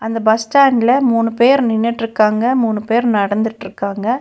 இந்த பஸ் ஸ்டாண்ட்ல மூணு பேர் நின்னுட்ருக்காங்க மூணு பேர் நடந்துட்ருகாங்க.